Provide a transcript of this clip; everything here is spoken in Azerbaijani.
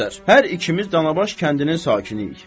Müxtəsər, hər ikimiz Danabaş kəndinin sakiniyik.